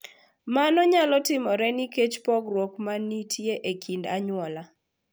Mano nyalo timore nikech pogruok ma nitie e kind anyuola.